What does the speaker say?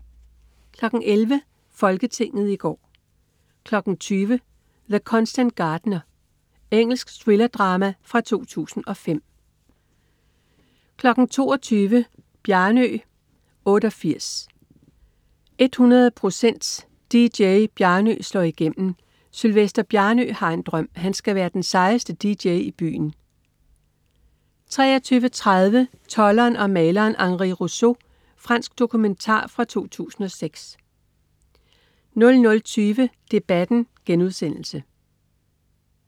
11.00 Folketinget i går 20.00 The Constant Gardener. Engelsk thrillerdrama fra 2005 22.00 Bjarnø 88, 100 procent DJ. "Bjarnø Slår Igennem". Sylvester Bjarnø har en drøm: Han skal være den sejeste dj i byen 23.30 Tolderen og maleren Henri Rousseau. Fransk dokumentar fra 2006 00.20 Debatten*